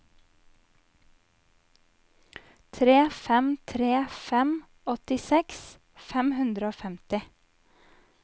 tre fem tre fem åttiseks fem hundre og femti